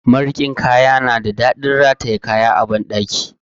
Marikin kaya na da daɗin rataye kaya a banɗaki.